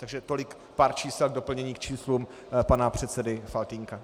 Takže tolik pár čísel k doplnění k číslům pana předsedy Faltýnka.